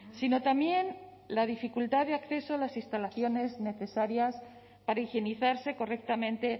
sino también la dificultad de acceso a las instalaciones necesarias para higienizarse correctamente